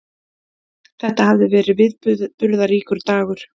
Þetta hafði verið viðburðaríkur dagur.